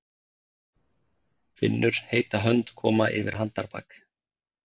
Finnur heita hönd koma yfir handarbak.